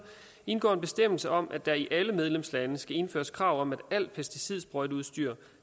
indgår en bestemmelse om at der i alle medlemslande skal indføres krav om at alt pesticidsprøjteudstyr